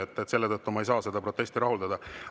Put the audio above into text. Nii et selle tõttu ma ei saa seda protesti rahuldada.